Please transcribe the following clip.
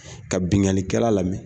Ka binnkannikɛla lamɛn